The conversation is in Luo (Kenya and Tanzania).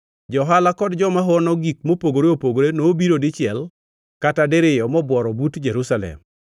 Johala kod joma hono gik mopogore opogore nobiro dichiel kata diriyo mobuoro but Jerusalem.